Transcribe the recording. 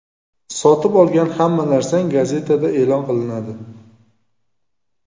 Sotib olgan hamma narsang gazetada e’lon qilinadi.